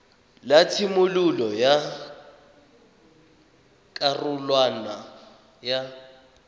la tshimololo ya karolwana ya